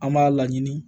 An b'a laɲini